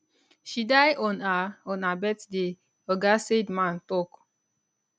she die on her on her birthday oga seidman tok